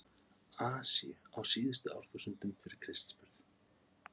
Asíu á síðustu árþúsundum fyrir Krists burð.